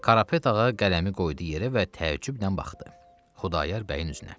Karapet ağa qələmi qoydu yerə və təəccüblə baxdı Xudayar bəyin üzünə.